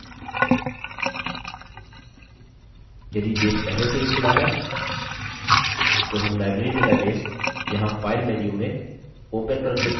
यदि base पहले से ही खुला है तो हम library database यहाँ file menu में open पर क्लिक करके खोल सकते हैं